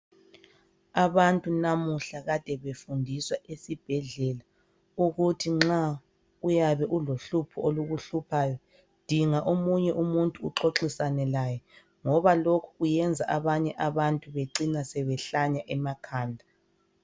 Abantu namuhla kade befundiswa esibhedlela ukuthi nxa uyabe ulohlupho olukuhluphayo dinga omunye umuntu uxoxisane laye ngoba lokhu kuyenza abanye abantu becina behlanya emakhanda.